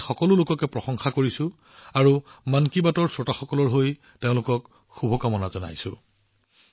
মই মন কী বাতৰ শ্ৰোতাসকলৰ হৈ এনে সকলো লোকক যথেষ্ট প্ৰশংসা কৰোঁ আৰু তেওঁলোকক শুভকামনা জনাইছো